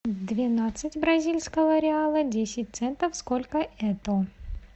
двенадцать бразильского реала десять центов сколько это